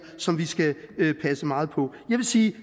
som vi skal passe meget på jeg vil sige